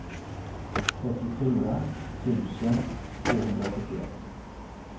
trettiofyra tusen tvåhundrasjuttioett